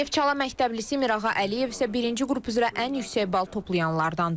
Neftçala məktəblisi Mirağa Əliyev isə birinci qrup üzrə ən yüksək bal toplayanlardandır.